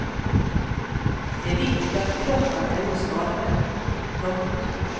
Det är viktigt att kropparna är oskadade. punkt